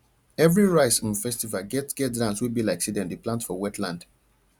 every rice um festival get get dance wey be like say dem dey plant for wetland